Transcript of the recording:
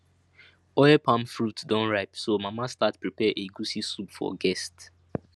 oil palm fruit don ripe so mama start prepare egusi soup for guest